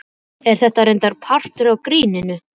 En þetta er reyndar partur af gríninu.